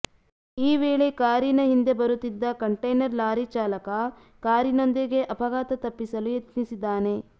ಈ ವೇಳೆ ಕಾರಿನ ಹಿಂದೆ ಬರುತ್ತಿದ್ದ ಕಂಟೈನರ್ ಲಾರಿ ಚಾಲಕ ಕಾರಿನೊಂದಿಗೆ ಅಪಘಾತ ತಪ್ಪಿಸಲು ಯತ್ನಿಸಿದ್ದಾನೆ